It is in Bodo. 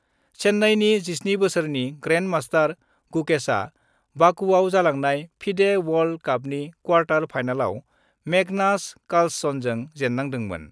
चेन्नाइनि 17 बोसोरनि ग्रेन्ड मास्टार गुकेशआ बाकुआव जालांनाय फिडे वर्ल्ड कापनि क्वार्टार फाइनालाव मेगनास कार्लसनजों जेन्नांदोमोन।